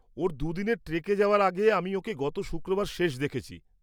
ওর দু'দিনের ট্রেকে যাওয়ার আগে আমি ওকে গত শুক্রবার শেষ দেখেছি।